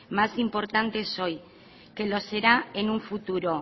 más importantes hoy que lo será en un futuro